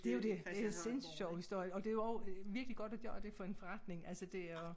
Det jo dét det en sindssygt sjov historie og det jo også virkelig godt at det for en forretning altså det er jo